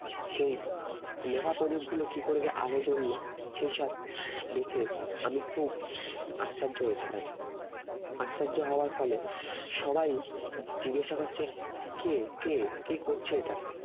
সেই নেভা প্রদীপগুলো কি করে যে আলো জ্বললো সেই সব দেখে আমি খুব আশ্চর্য হয়েছিলাম আশ্চর্য হওয়ার ফলে সবাই জিজ্ঞাসা করছে কে কে কে করছে এটা